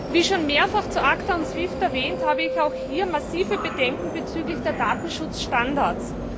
Wie schon mehrfach zu ACTA und SWIFT erwähnt, habe ich auch hier massive Bedenken bezüglich der Datenschutzstandards.